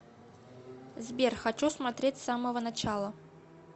сбер хочу смотреть с самого начала